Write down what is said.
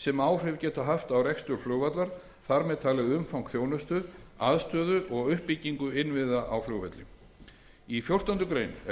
sem áhrif geta haft á rekstur flugvallar þar með talið umfang þjónustu aðstöðu og uppbyggingu innviða á flugvelli í fjórtán greinar er lögð